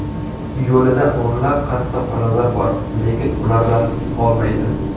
Yo‘lida o‘nlab qassobxonalar bor, lekin ulardan olmaydi.